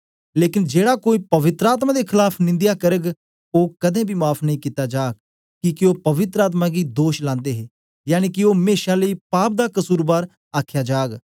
लेकन जेड़ा कोई पवित्र आत्मा दे खलाफ निंदया करग ओ कदें बी माफ़ नेई कित्ता जाग किके ओ पवित्र आत्मा गी दोष लांदे हे यनिके ओ मेशा लेई पाप दा कसुरबार आखया जाग